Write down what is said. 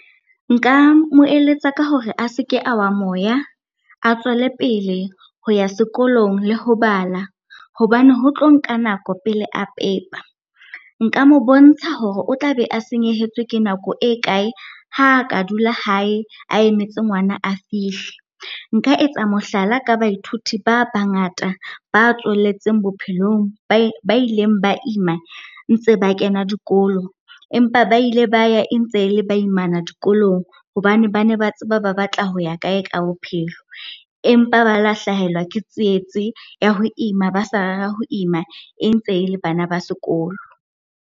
Nka mo eletsa ka hore a seke a wa moya, a tswelepele ho ya sekolong le ho bala hobane ho tlo nka nako pele a pepa. Nka mo bontsha hore o tla be a senyehetswe ke nako e kae, ha ka dula hae a emetse ngwana a fihle. Nka etsa mohlala ka baithuti ba bangata ba tswelletseng bophelong ba ileng ba ima ntse ba kena dikolo. Empa ba ile ba ya e ntse le ba imana dikolong hobane bane ba tseba ba batla ho ya kae ka bophelo, empa ba la hlahelwa ke tsietsi ya ho ima ba sa rera ho ima e ntse e le bana ba sekolo.